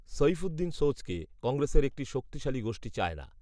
সৈফুদ্দিন সোজকে কংগ্রেসের একটি শক্তিশালী গোষ্ঠী চায় না